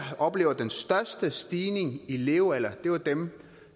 oplever den største stigning i levealder er dem